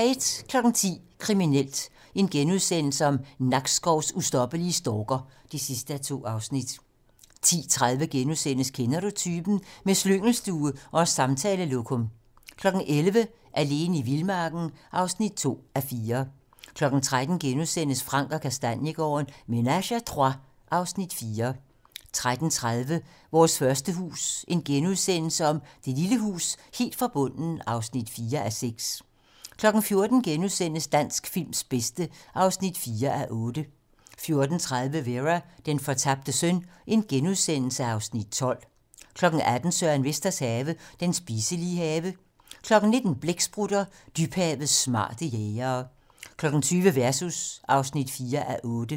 10:00: Kriminelt: Nakskovs ustoppelige stalker (2:2)* 10:30: Kender Du Typen? - Med slyngelstue og samtalelokum * 11:00: Alene i vildmarken (2:4) 13:00: Frank & Kastaniegaarden - Ménage à trois (Afs. 4)* 13:30: Vores første hus - Lille hus helt fra bunden (4:6)* 14:00: Dansk films bedste (4:8)* 14:30: Vera: Den fortabte søn (Afs. 12)* 18:00: Søren Vesters Have - Den spiselige have 19:00: Blæksprutter: Dybhavets smarte jægere 20:00: Versus (4:8)